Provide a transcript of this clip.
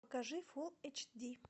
покажи фул эйч ди